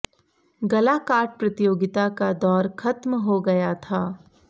गलाकाट प्रतियोगिता का दौर खत्म हो गया था